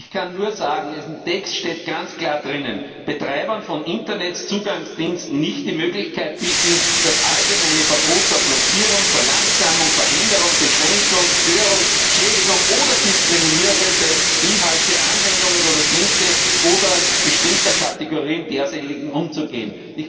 Ich kann nur sagen, in diesem Text steht ganz klar Betreibern von Internetzugangsdiensten nicht die Möglichkeit bieten, das allgemeine Verbot der Blockierung, Verlangsamung, Veränderung, Beschränkung, Störung, Schädigung oder Diskriminierung bestimmter Inhalte, Anwendungen oder Dienste oder bestimmter Kategorien derselben zu umgehen.